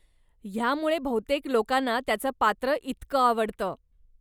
ह्यामुळेच बहुतेक लोकांना त्याचं पात्र इतकं आवडतं.